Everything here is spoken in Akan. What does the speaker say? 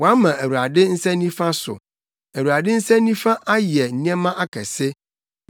Wɔama Awurade nsa nifa so; Awurade nsa nifa ayɛ nneɛma akɛse!”